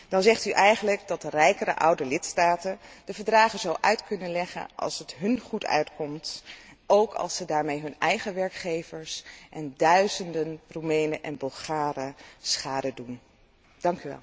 Dan zegt u eigenlijk dat de rijkere oude lidstaten de Verdragen uit kunnen leggen zoals het hun uitkomt, ook als ze daarmee hun eigen werkgevers en duizenden Roemenen en Bulgaren schade berokkenen.